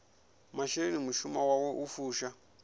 masheleni mushumoni wawe u fusha